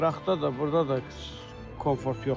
Qıraqda da, burda da komfort yoxdur.